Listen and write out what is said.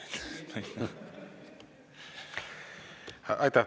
Aitäh!